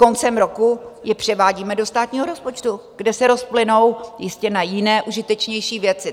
Koncem roku je převádíme do státního rozpočtu, kde se rozplynou jistě na jiné, užitečnější věci.